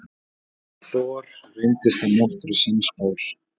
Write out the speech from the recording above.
Thor reyndist að nokkru sannspár.